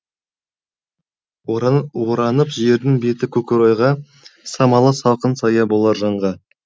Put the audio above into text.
оранып жердің беті көкорайға самалы салқын сая болар жанға